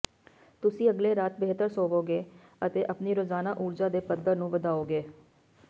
ਤੁਸੀਂ ਅਗਲੇ ਰਾਤ ਬਿਹਤਰ ਸੌਂਵੋਗੇ ਅਤੇ ਆਪਣੀ ਰੋਜ਼ਾਨਾ ਊਰਜਾ ਦੇ ਪੱਧਰ ਨੂੰ ਵਧਾਓਗੇ